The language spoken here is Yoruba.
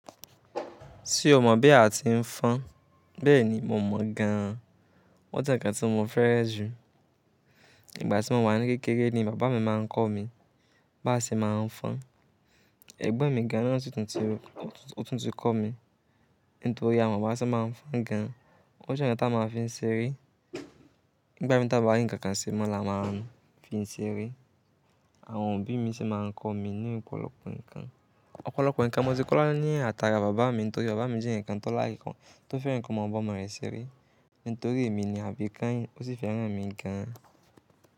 Ṣé o mọ̀ bí a ti ń fọn? Bẹ́ẹ̀ni, mo mọ̀ gan. Wọ́n jẹ́ ǹkan tí mo fẹ́rẹ̀ jù. Ìgbà tí mo wà ní kékeré ni bàbá mi máa ń kọ́ mi bá ṣe máa ń fọn. Ẹ̀gbọ́n mi gan na si tún ti kọ́ mi, nítorí a ma ma n sabá n fon gan. O jẹ́ ǹkan n ta máa fi ń ṣeré. nÌgbà mi ta bá wá ri ǹkan kan ṣe mọ́ la máa ń fi n ṣeré. Àwọn òbí mi sì máa ń kọ́ mi ní ọ̀pọ̀lọpọ̀ ǹkan. Ọ̀pọ̀lọpọ̀ ǹkan mo ti kọ́ lọ ní àtàrà bàbá mi, nítorí bàbá mi jẹ́ ǹkan tó lárìnkan tó fẹ́ràn ǹkan ọmọ ọ̀bọ máa ń ṣeré. Nítorí èmi ni àbí kànyìn, ó sì fẹ́ràn à mi gan-an.